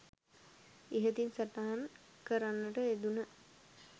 ඉහතින් සටහන් කරන්නට යෙදුන